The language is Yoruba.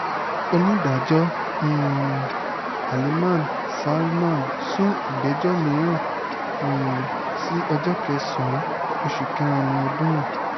onídàájọ́ um haleeman salman sún ìgbẹ́jọ́ mìíràn um sí ọjọ́ kẹsàn-án oṣù kẹrin ọdún yìí